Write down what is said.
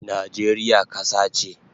Najeriya kasa che